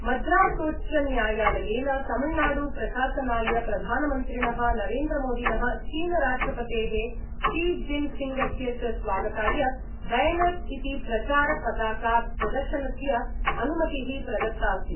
मद्रासोच्चन्यायालयेन Tamil Nadu प्रशासनाय प्रधामन्त्रिण: नरेन्द्रमोदिन: चीनराष्ट्रपतेः Xi जिनफिंगस्य च स्वागताय बैनर-इति प्रचार पताका प्रदर्शनस्य अनुमति: प्रदत्ताऽस्ति